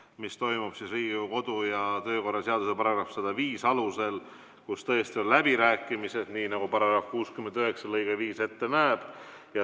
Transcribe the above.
See toimub Riigikogu kodu- ja töökorra seaduse § 105 alusel, kus tõesti on läbirääkimised, nii nagu § 69 lõige 5 ette näeb.